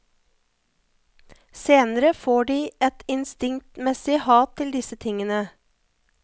Senere får de et instinktmessig hat til disse tingene.